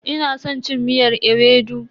Ina san cin miyar ewedu.